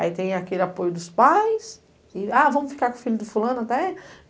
Aí tem aquele apoio dos pais e, ah, vamos ficar com o filho do fulano até?